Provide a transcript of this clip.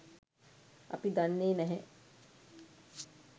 අපි දන්නේ නැහැ?